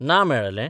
ना मेळ्ळले.